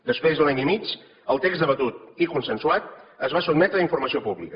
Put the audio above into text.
després d’un any i mig el text debatut i consensuat es va sotmetre a informació pública